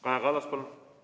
Kaja Kallas, palun!